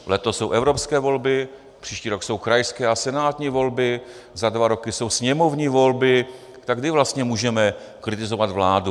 Letos jsou evropské volby, příští rok jsou krajské a senátní volby, za dva roky jsou sněmovní volby, tak kdy vlastně můžeme kritizovat vládu?